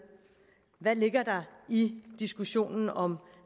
hvad ligger der i diskussionen om